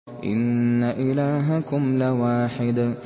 إِنَّ إِلَٰهَكُمْ لَوَاحِدٌ